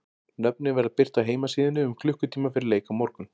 Nöfnin verða birt á heimasíðunni um klukkutíma fyrir leik á morgun.